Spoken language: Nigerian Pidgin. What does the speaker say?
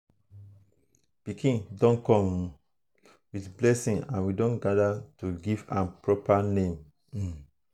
pikin don come um with blessing and we don gather to give am proper name. um